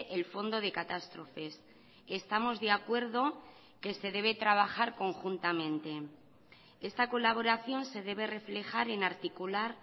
el fondo de catástrofes estamos de acuerdo que se debe trabajar conjuntamente esta colaboración se debe reflejar en articular